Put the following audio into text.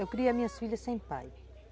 Eu criei as minhas filhas sem pai.